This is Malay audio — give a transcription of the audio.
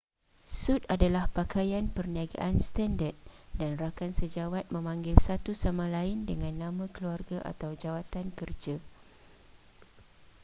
sut adalah pakaian perniagaan standard dan rakan sejawat memanggil satu sama lain dengan nama keluarga atau jawatan kerja